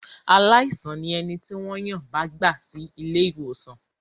Aláìsàn ni ẹni tí wọ́n yàn bá gbà sí ilé-ìwòsàn.